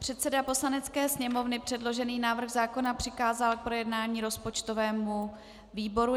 Předseda Poslanecké sněmovny předložený návrh zákona přikázal k projednání rozpočtovému výboru.